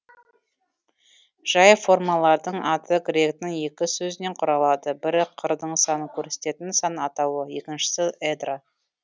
жай формалардың аты гректің екі сөзінен құралады бірі қырдың санын көрсететін сан атауы екіншісі эдра